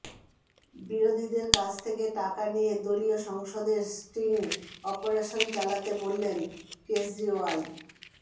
বিরোধীদের কাছ থেকে টাকা নিয়ে দলীয় সদস্যদের স্টিং অপরেশন চালাতে বললেন কেজরিওয়াল